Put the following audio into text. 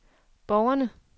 borgerne